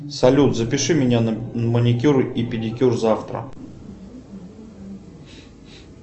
салют запиши меня на маникюр и педикюр завтра